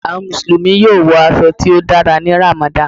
Awọn Musulumi yoo wọ aṣọ ti o dàrá ní Ramadan